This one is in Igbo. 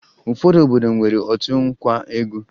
Ụfọdụ obodo nwere otu nkwa egwu